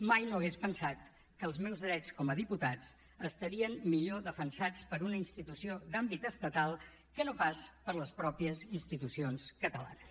mai no hauria pensat que els meus drets com a diputat estarien millor defensats per una institució d’àmbit estatal que no pas per les mateixes institucions catalanes